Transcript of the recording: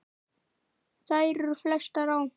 Þær eru flestar á